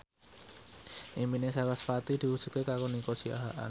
impine sarasvati diwujudke karo Nico Siahaan